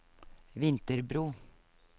Vinterbro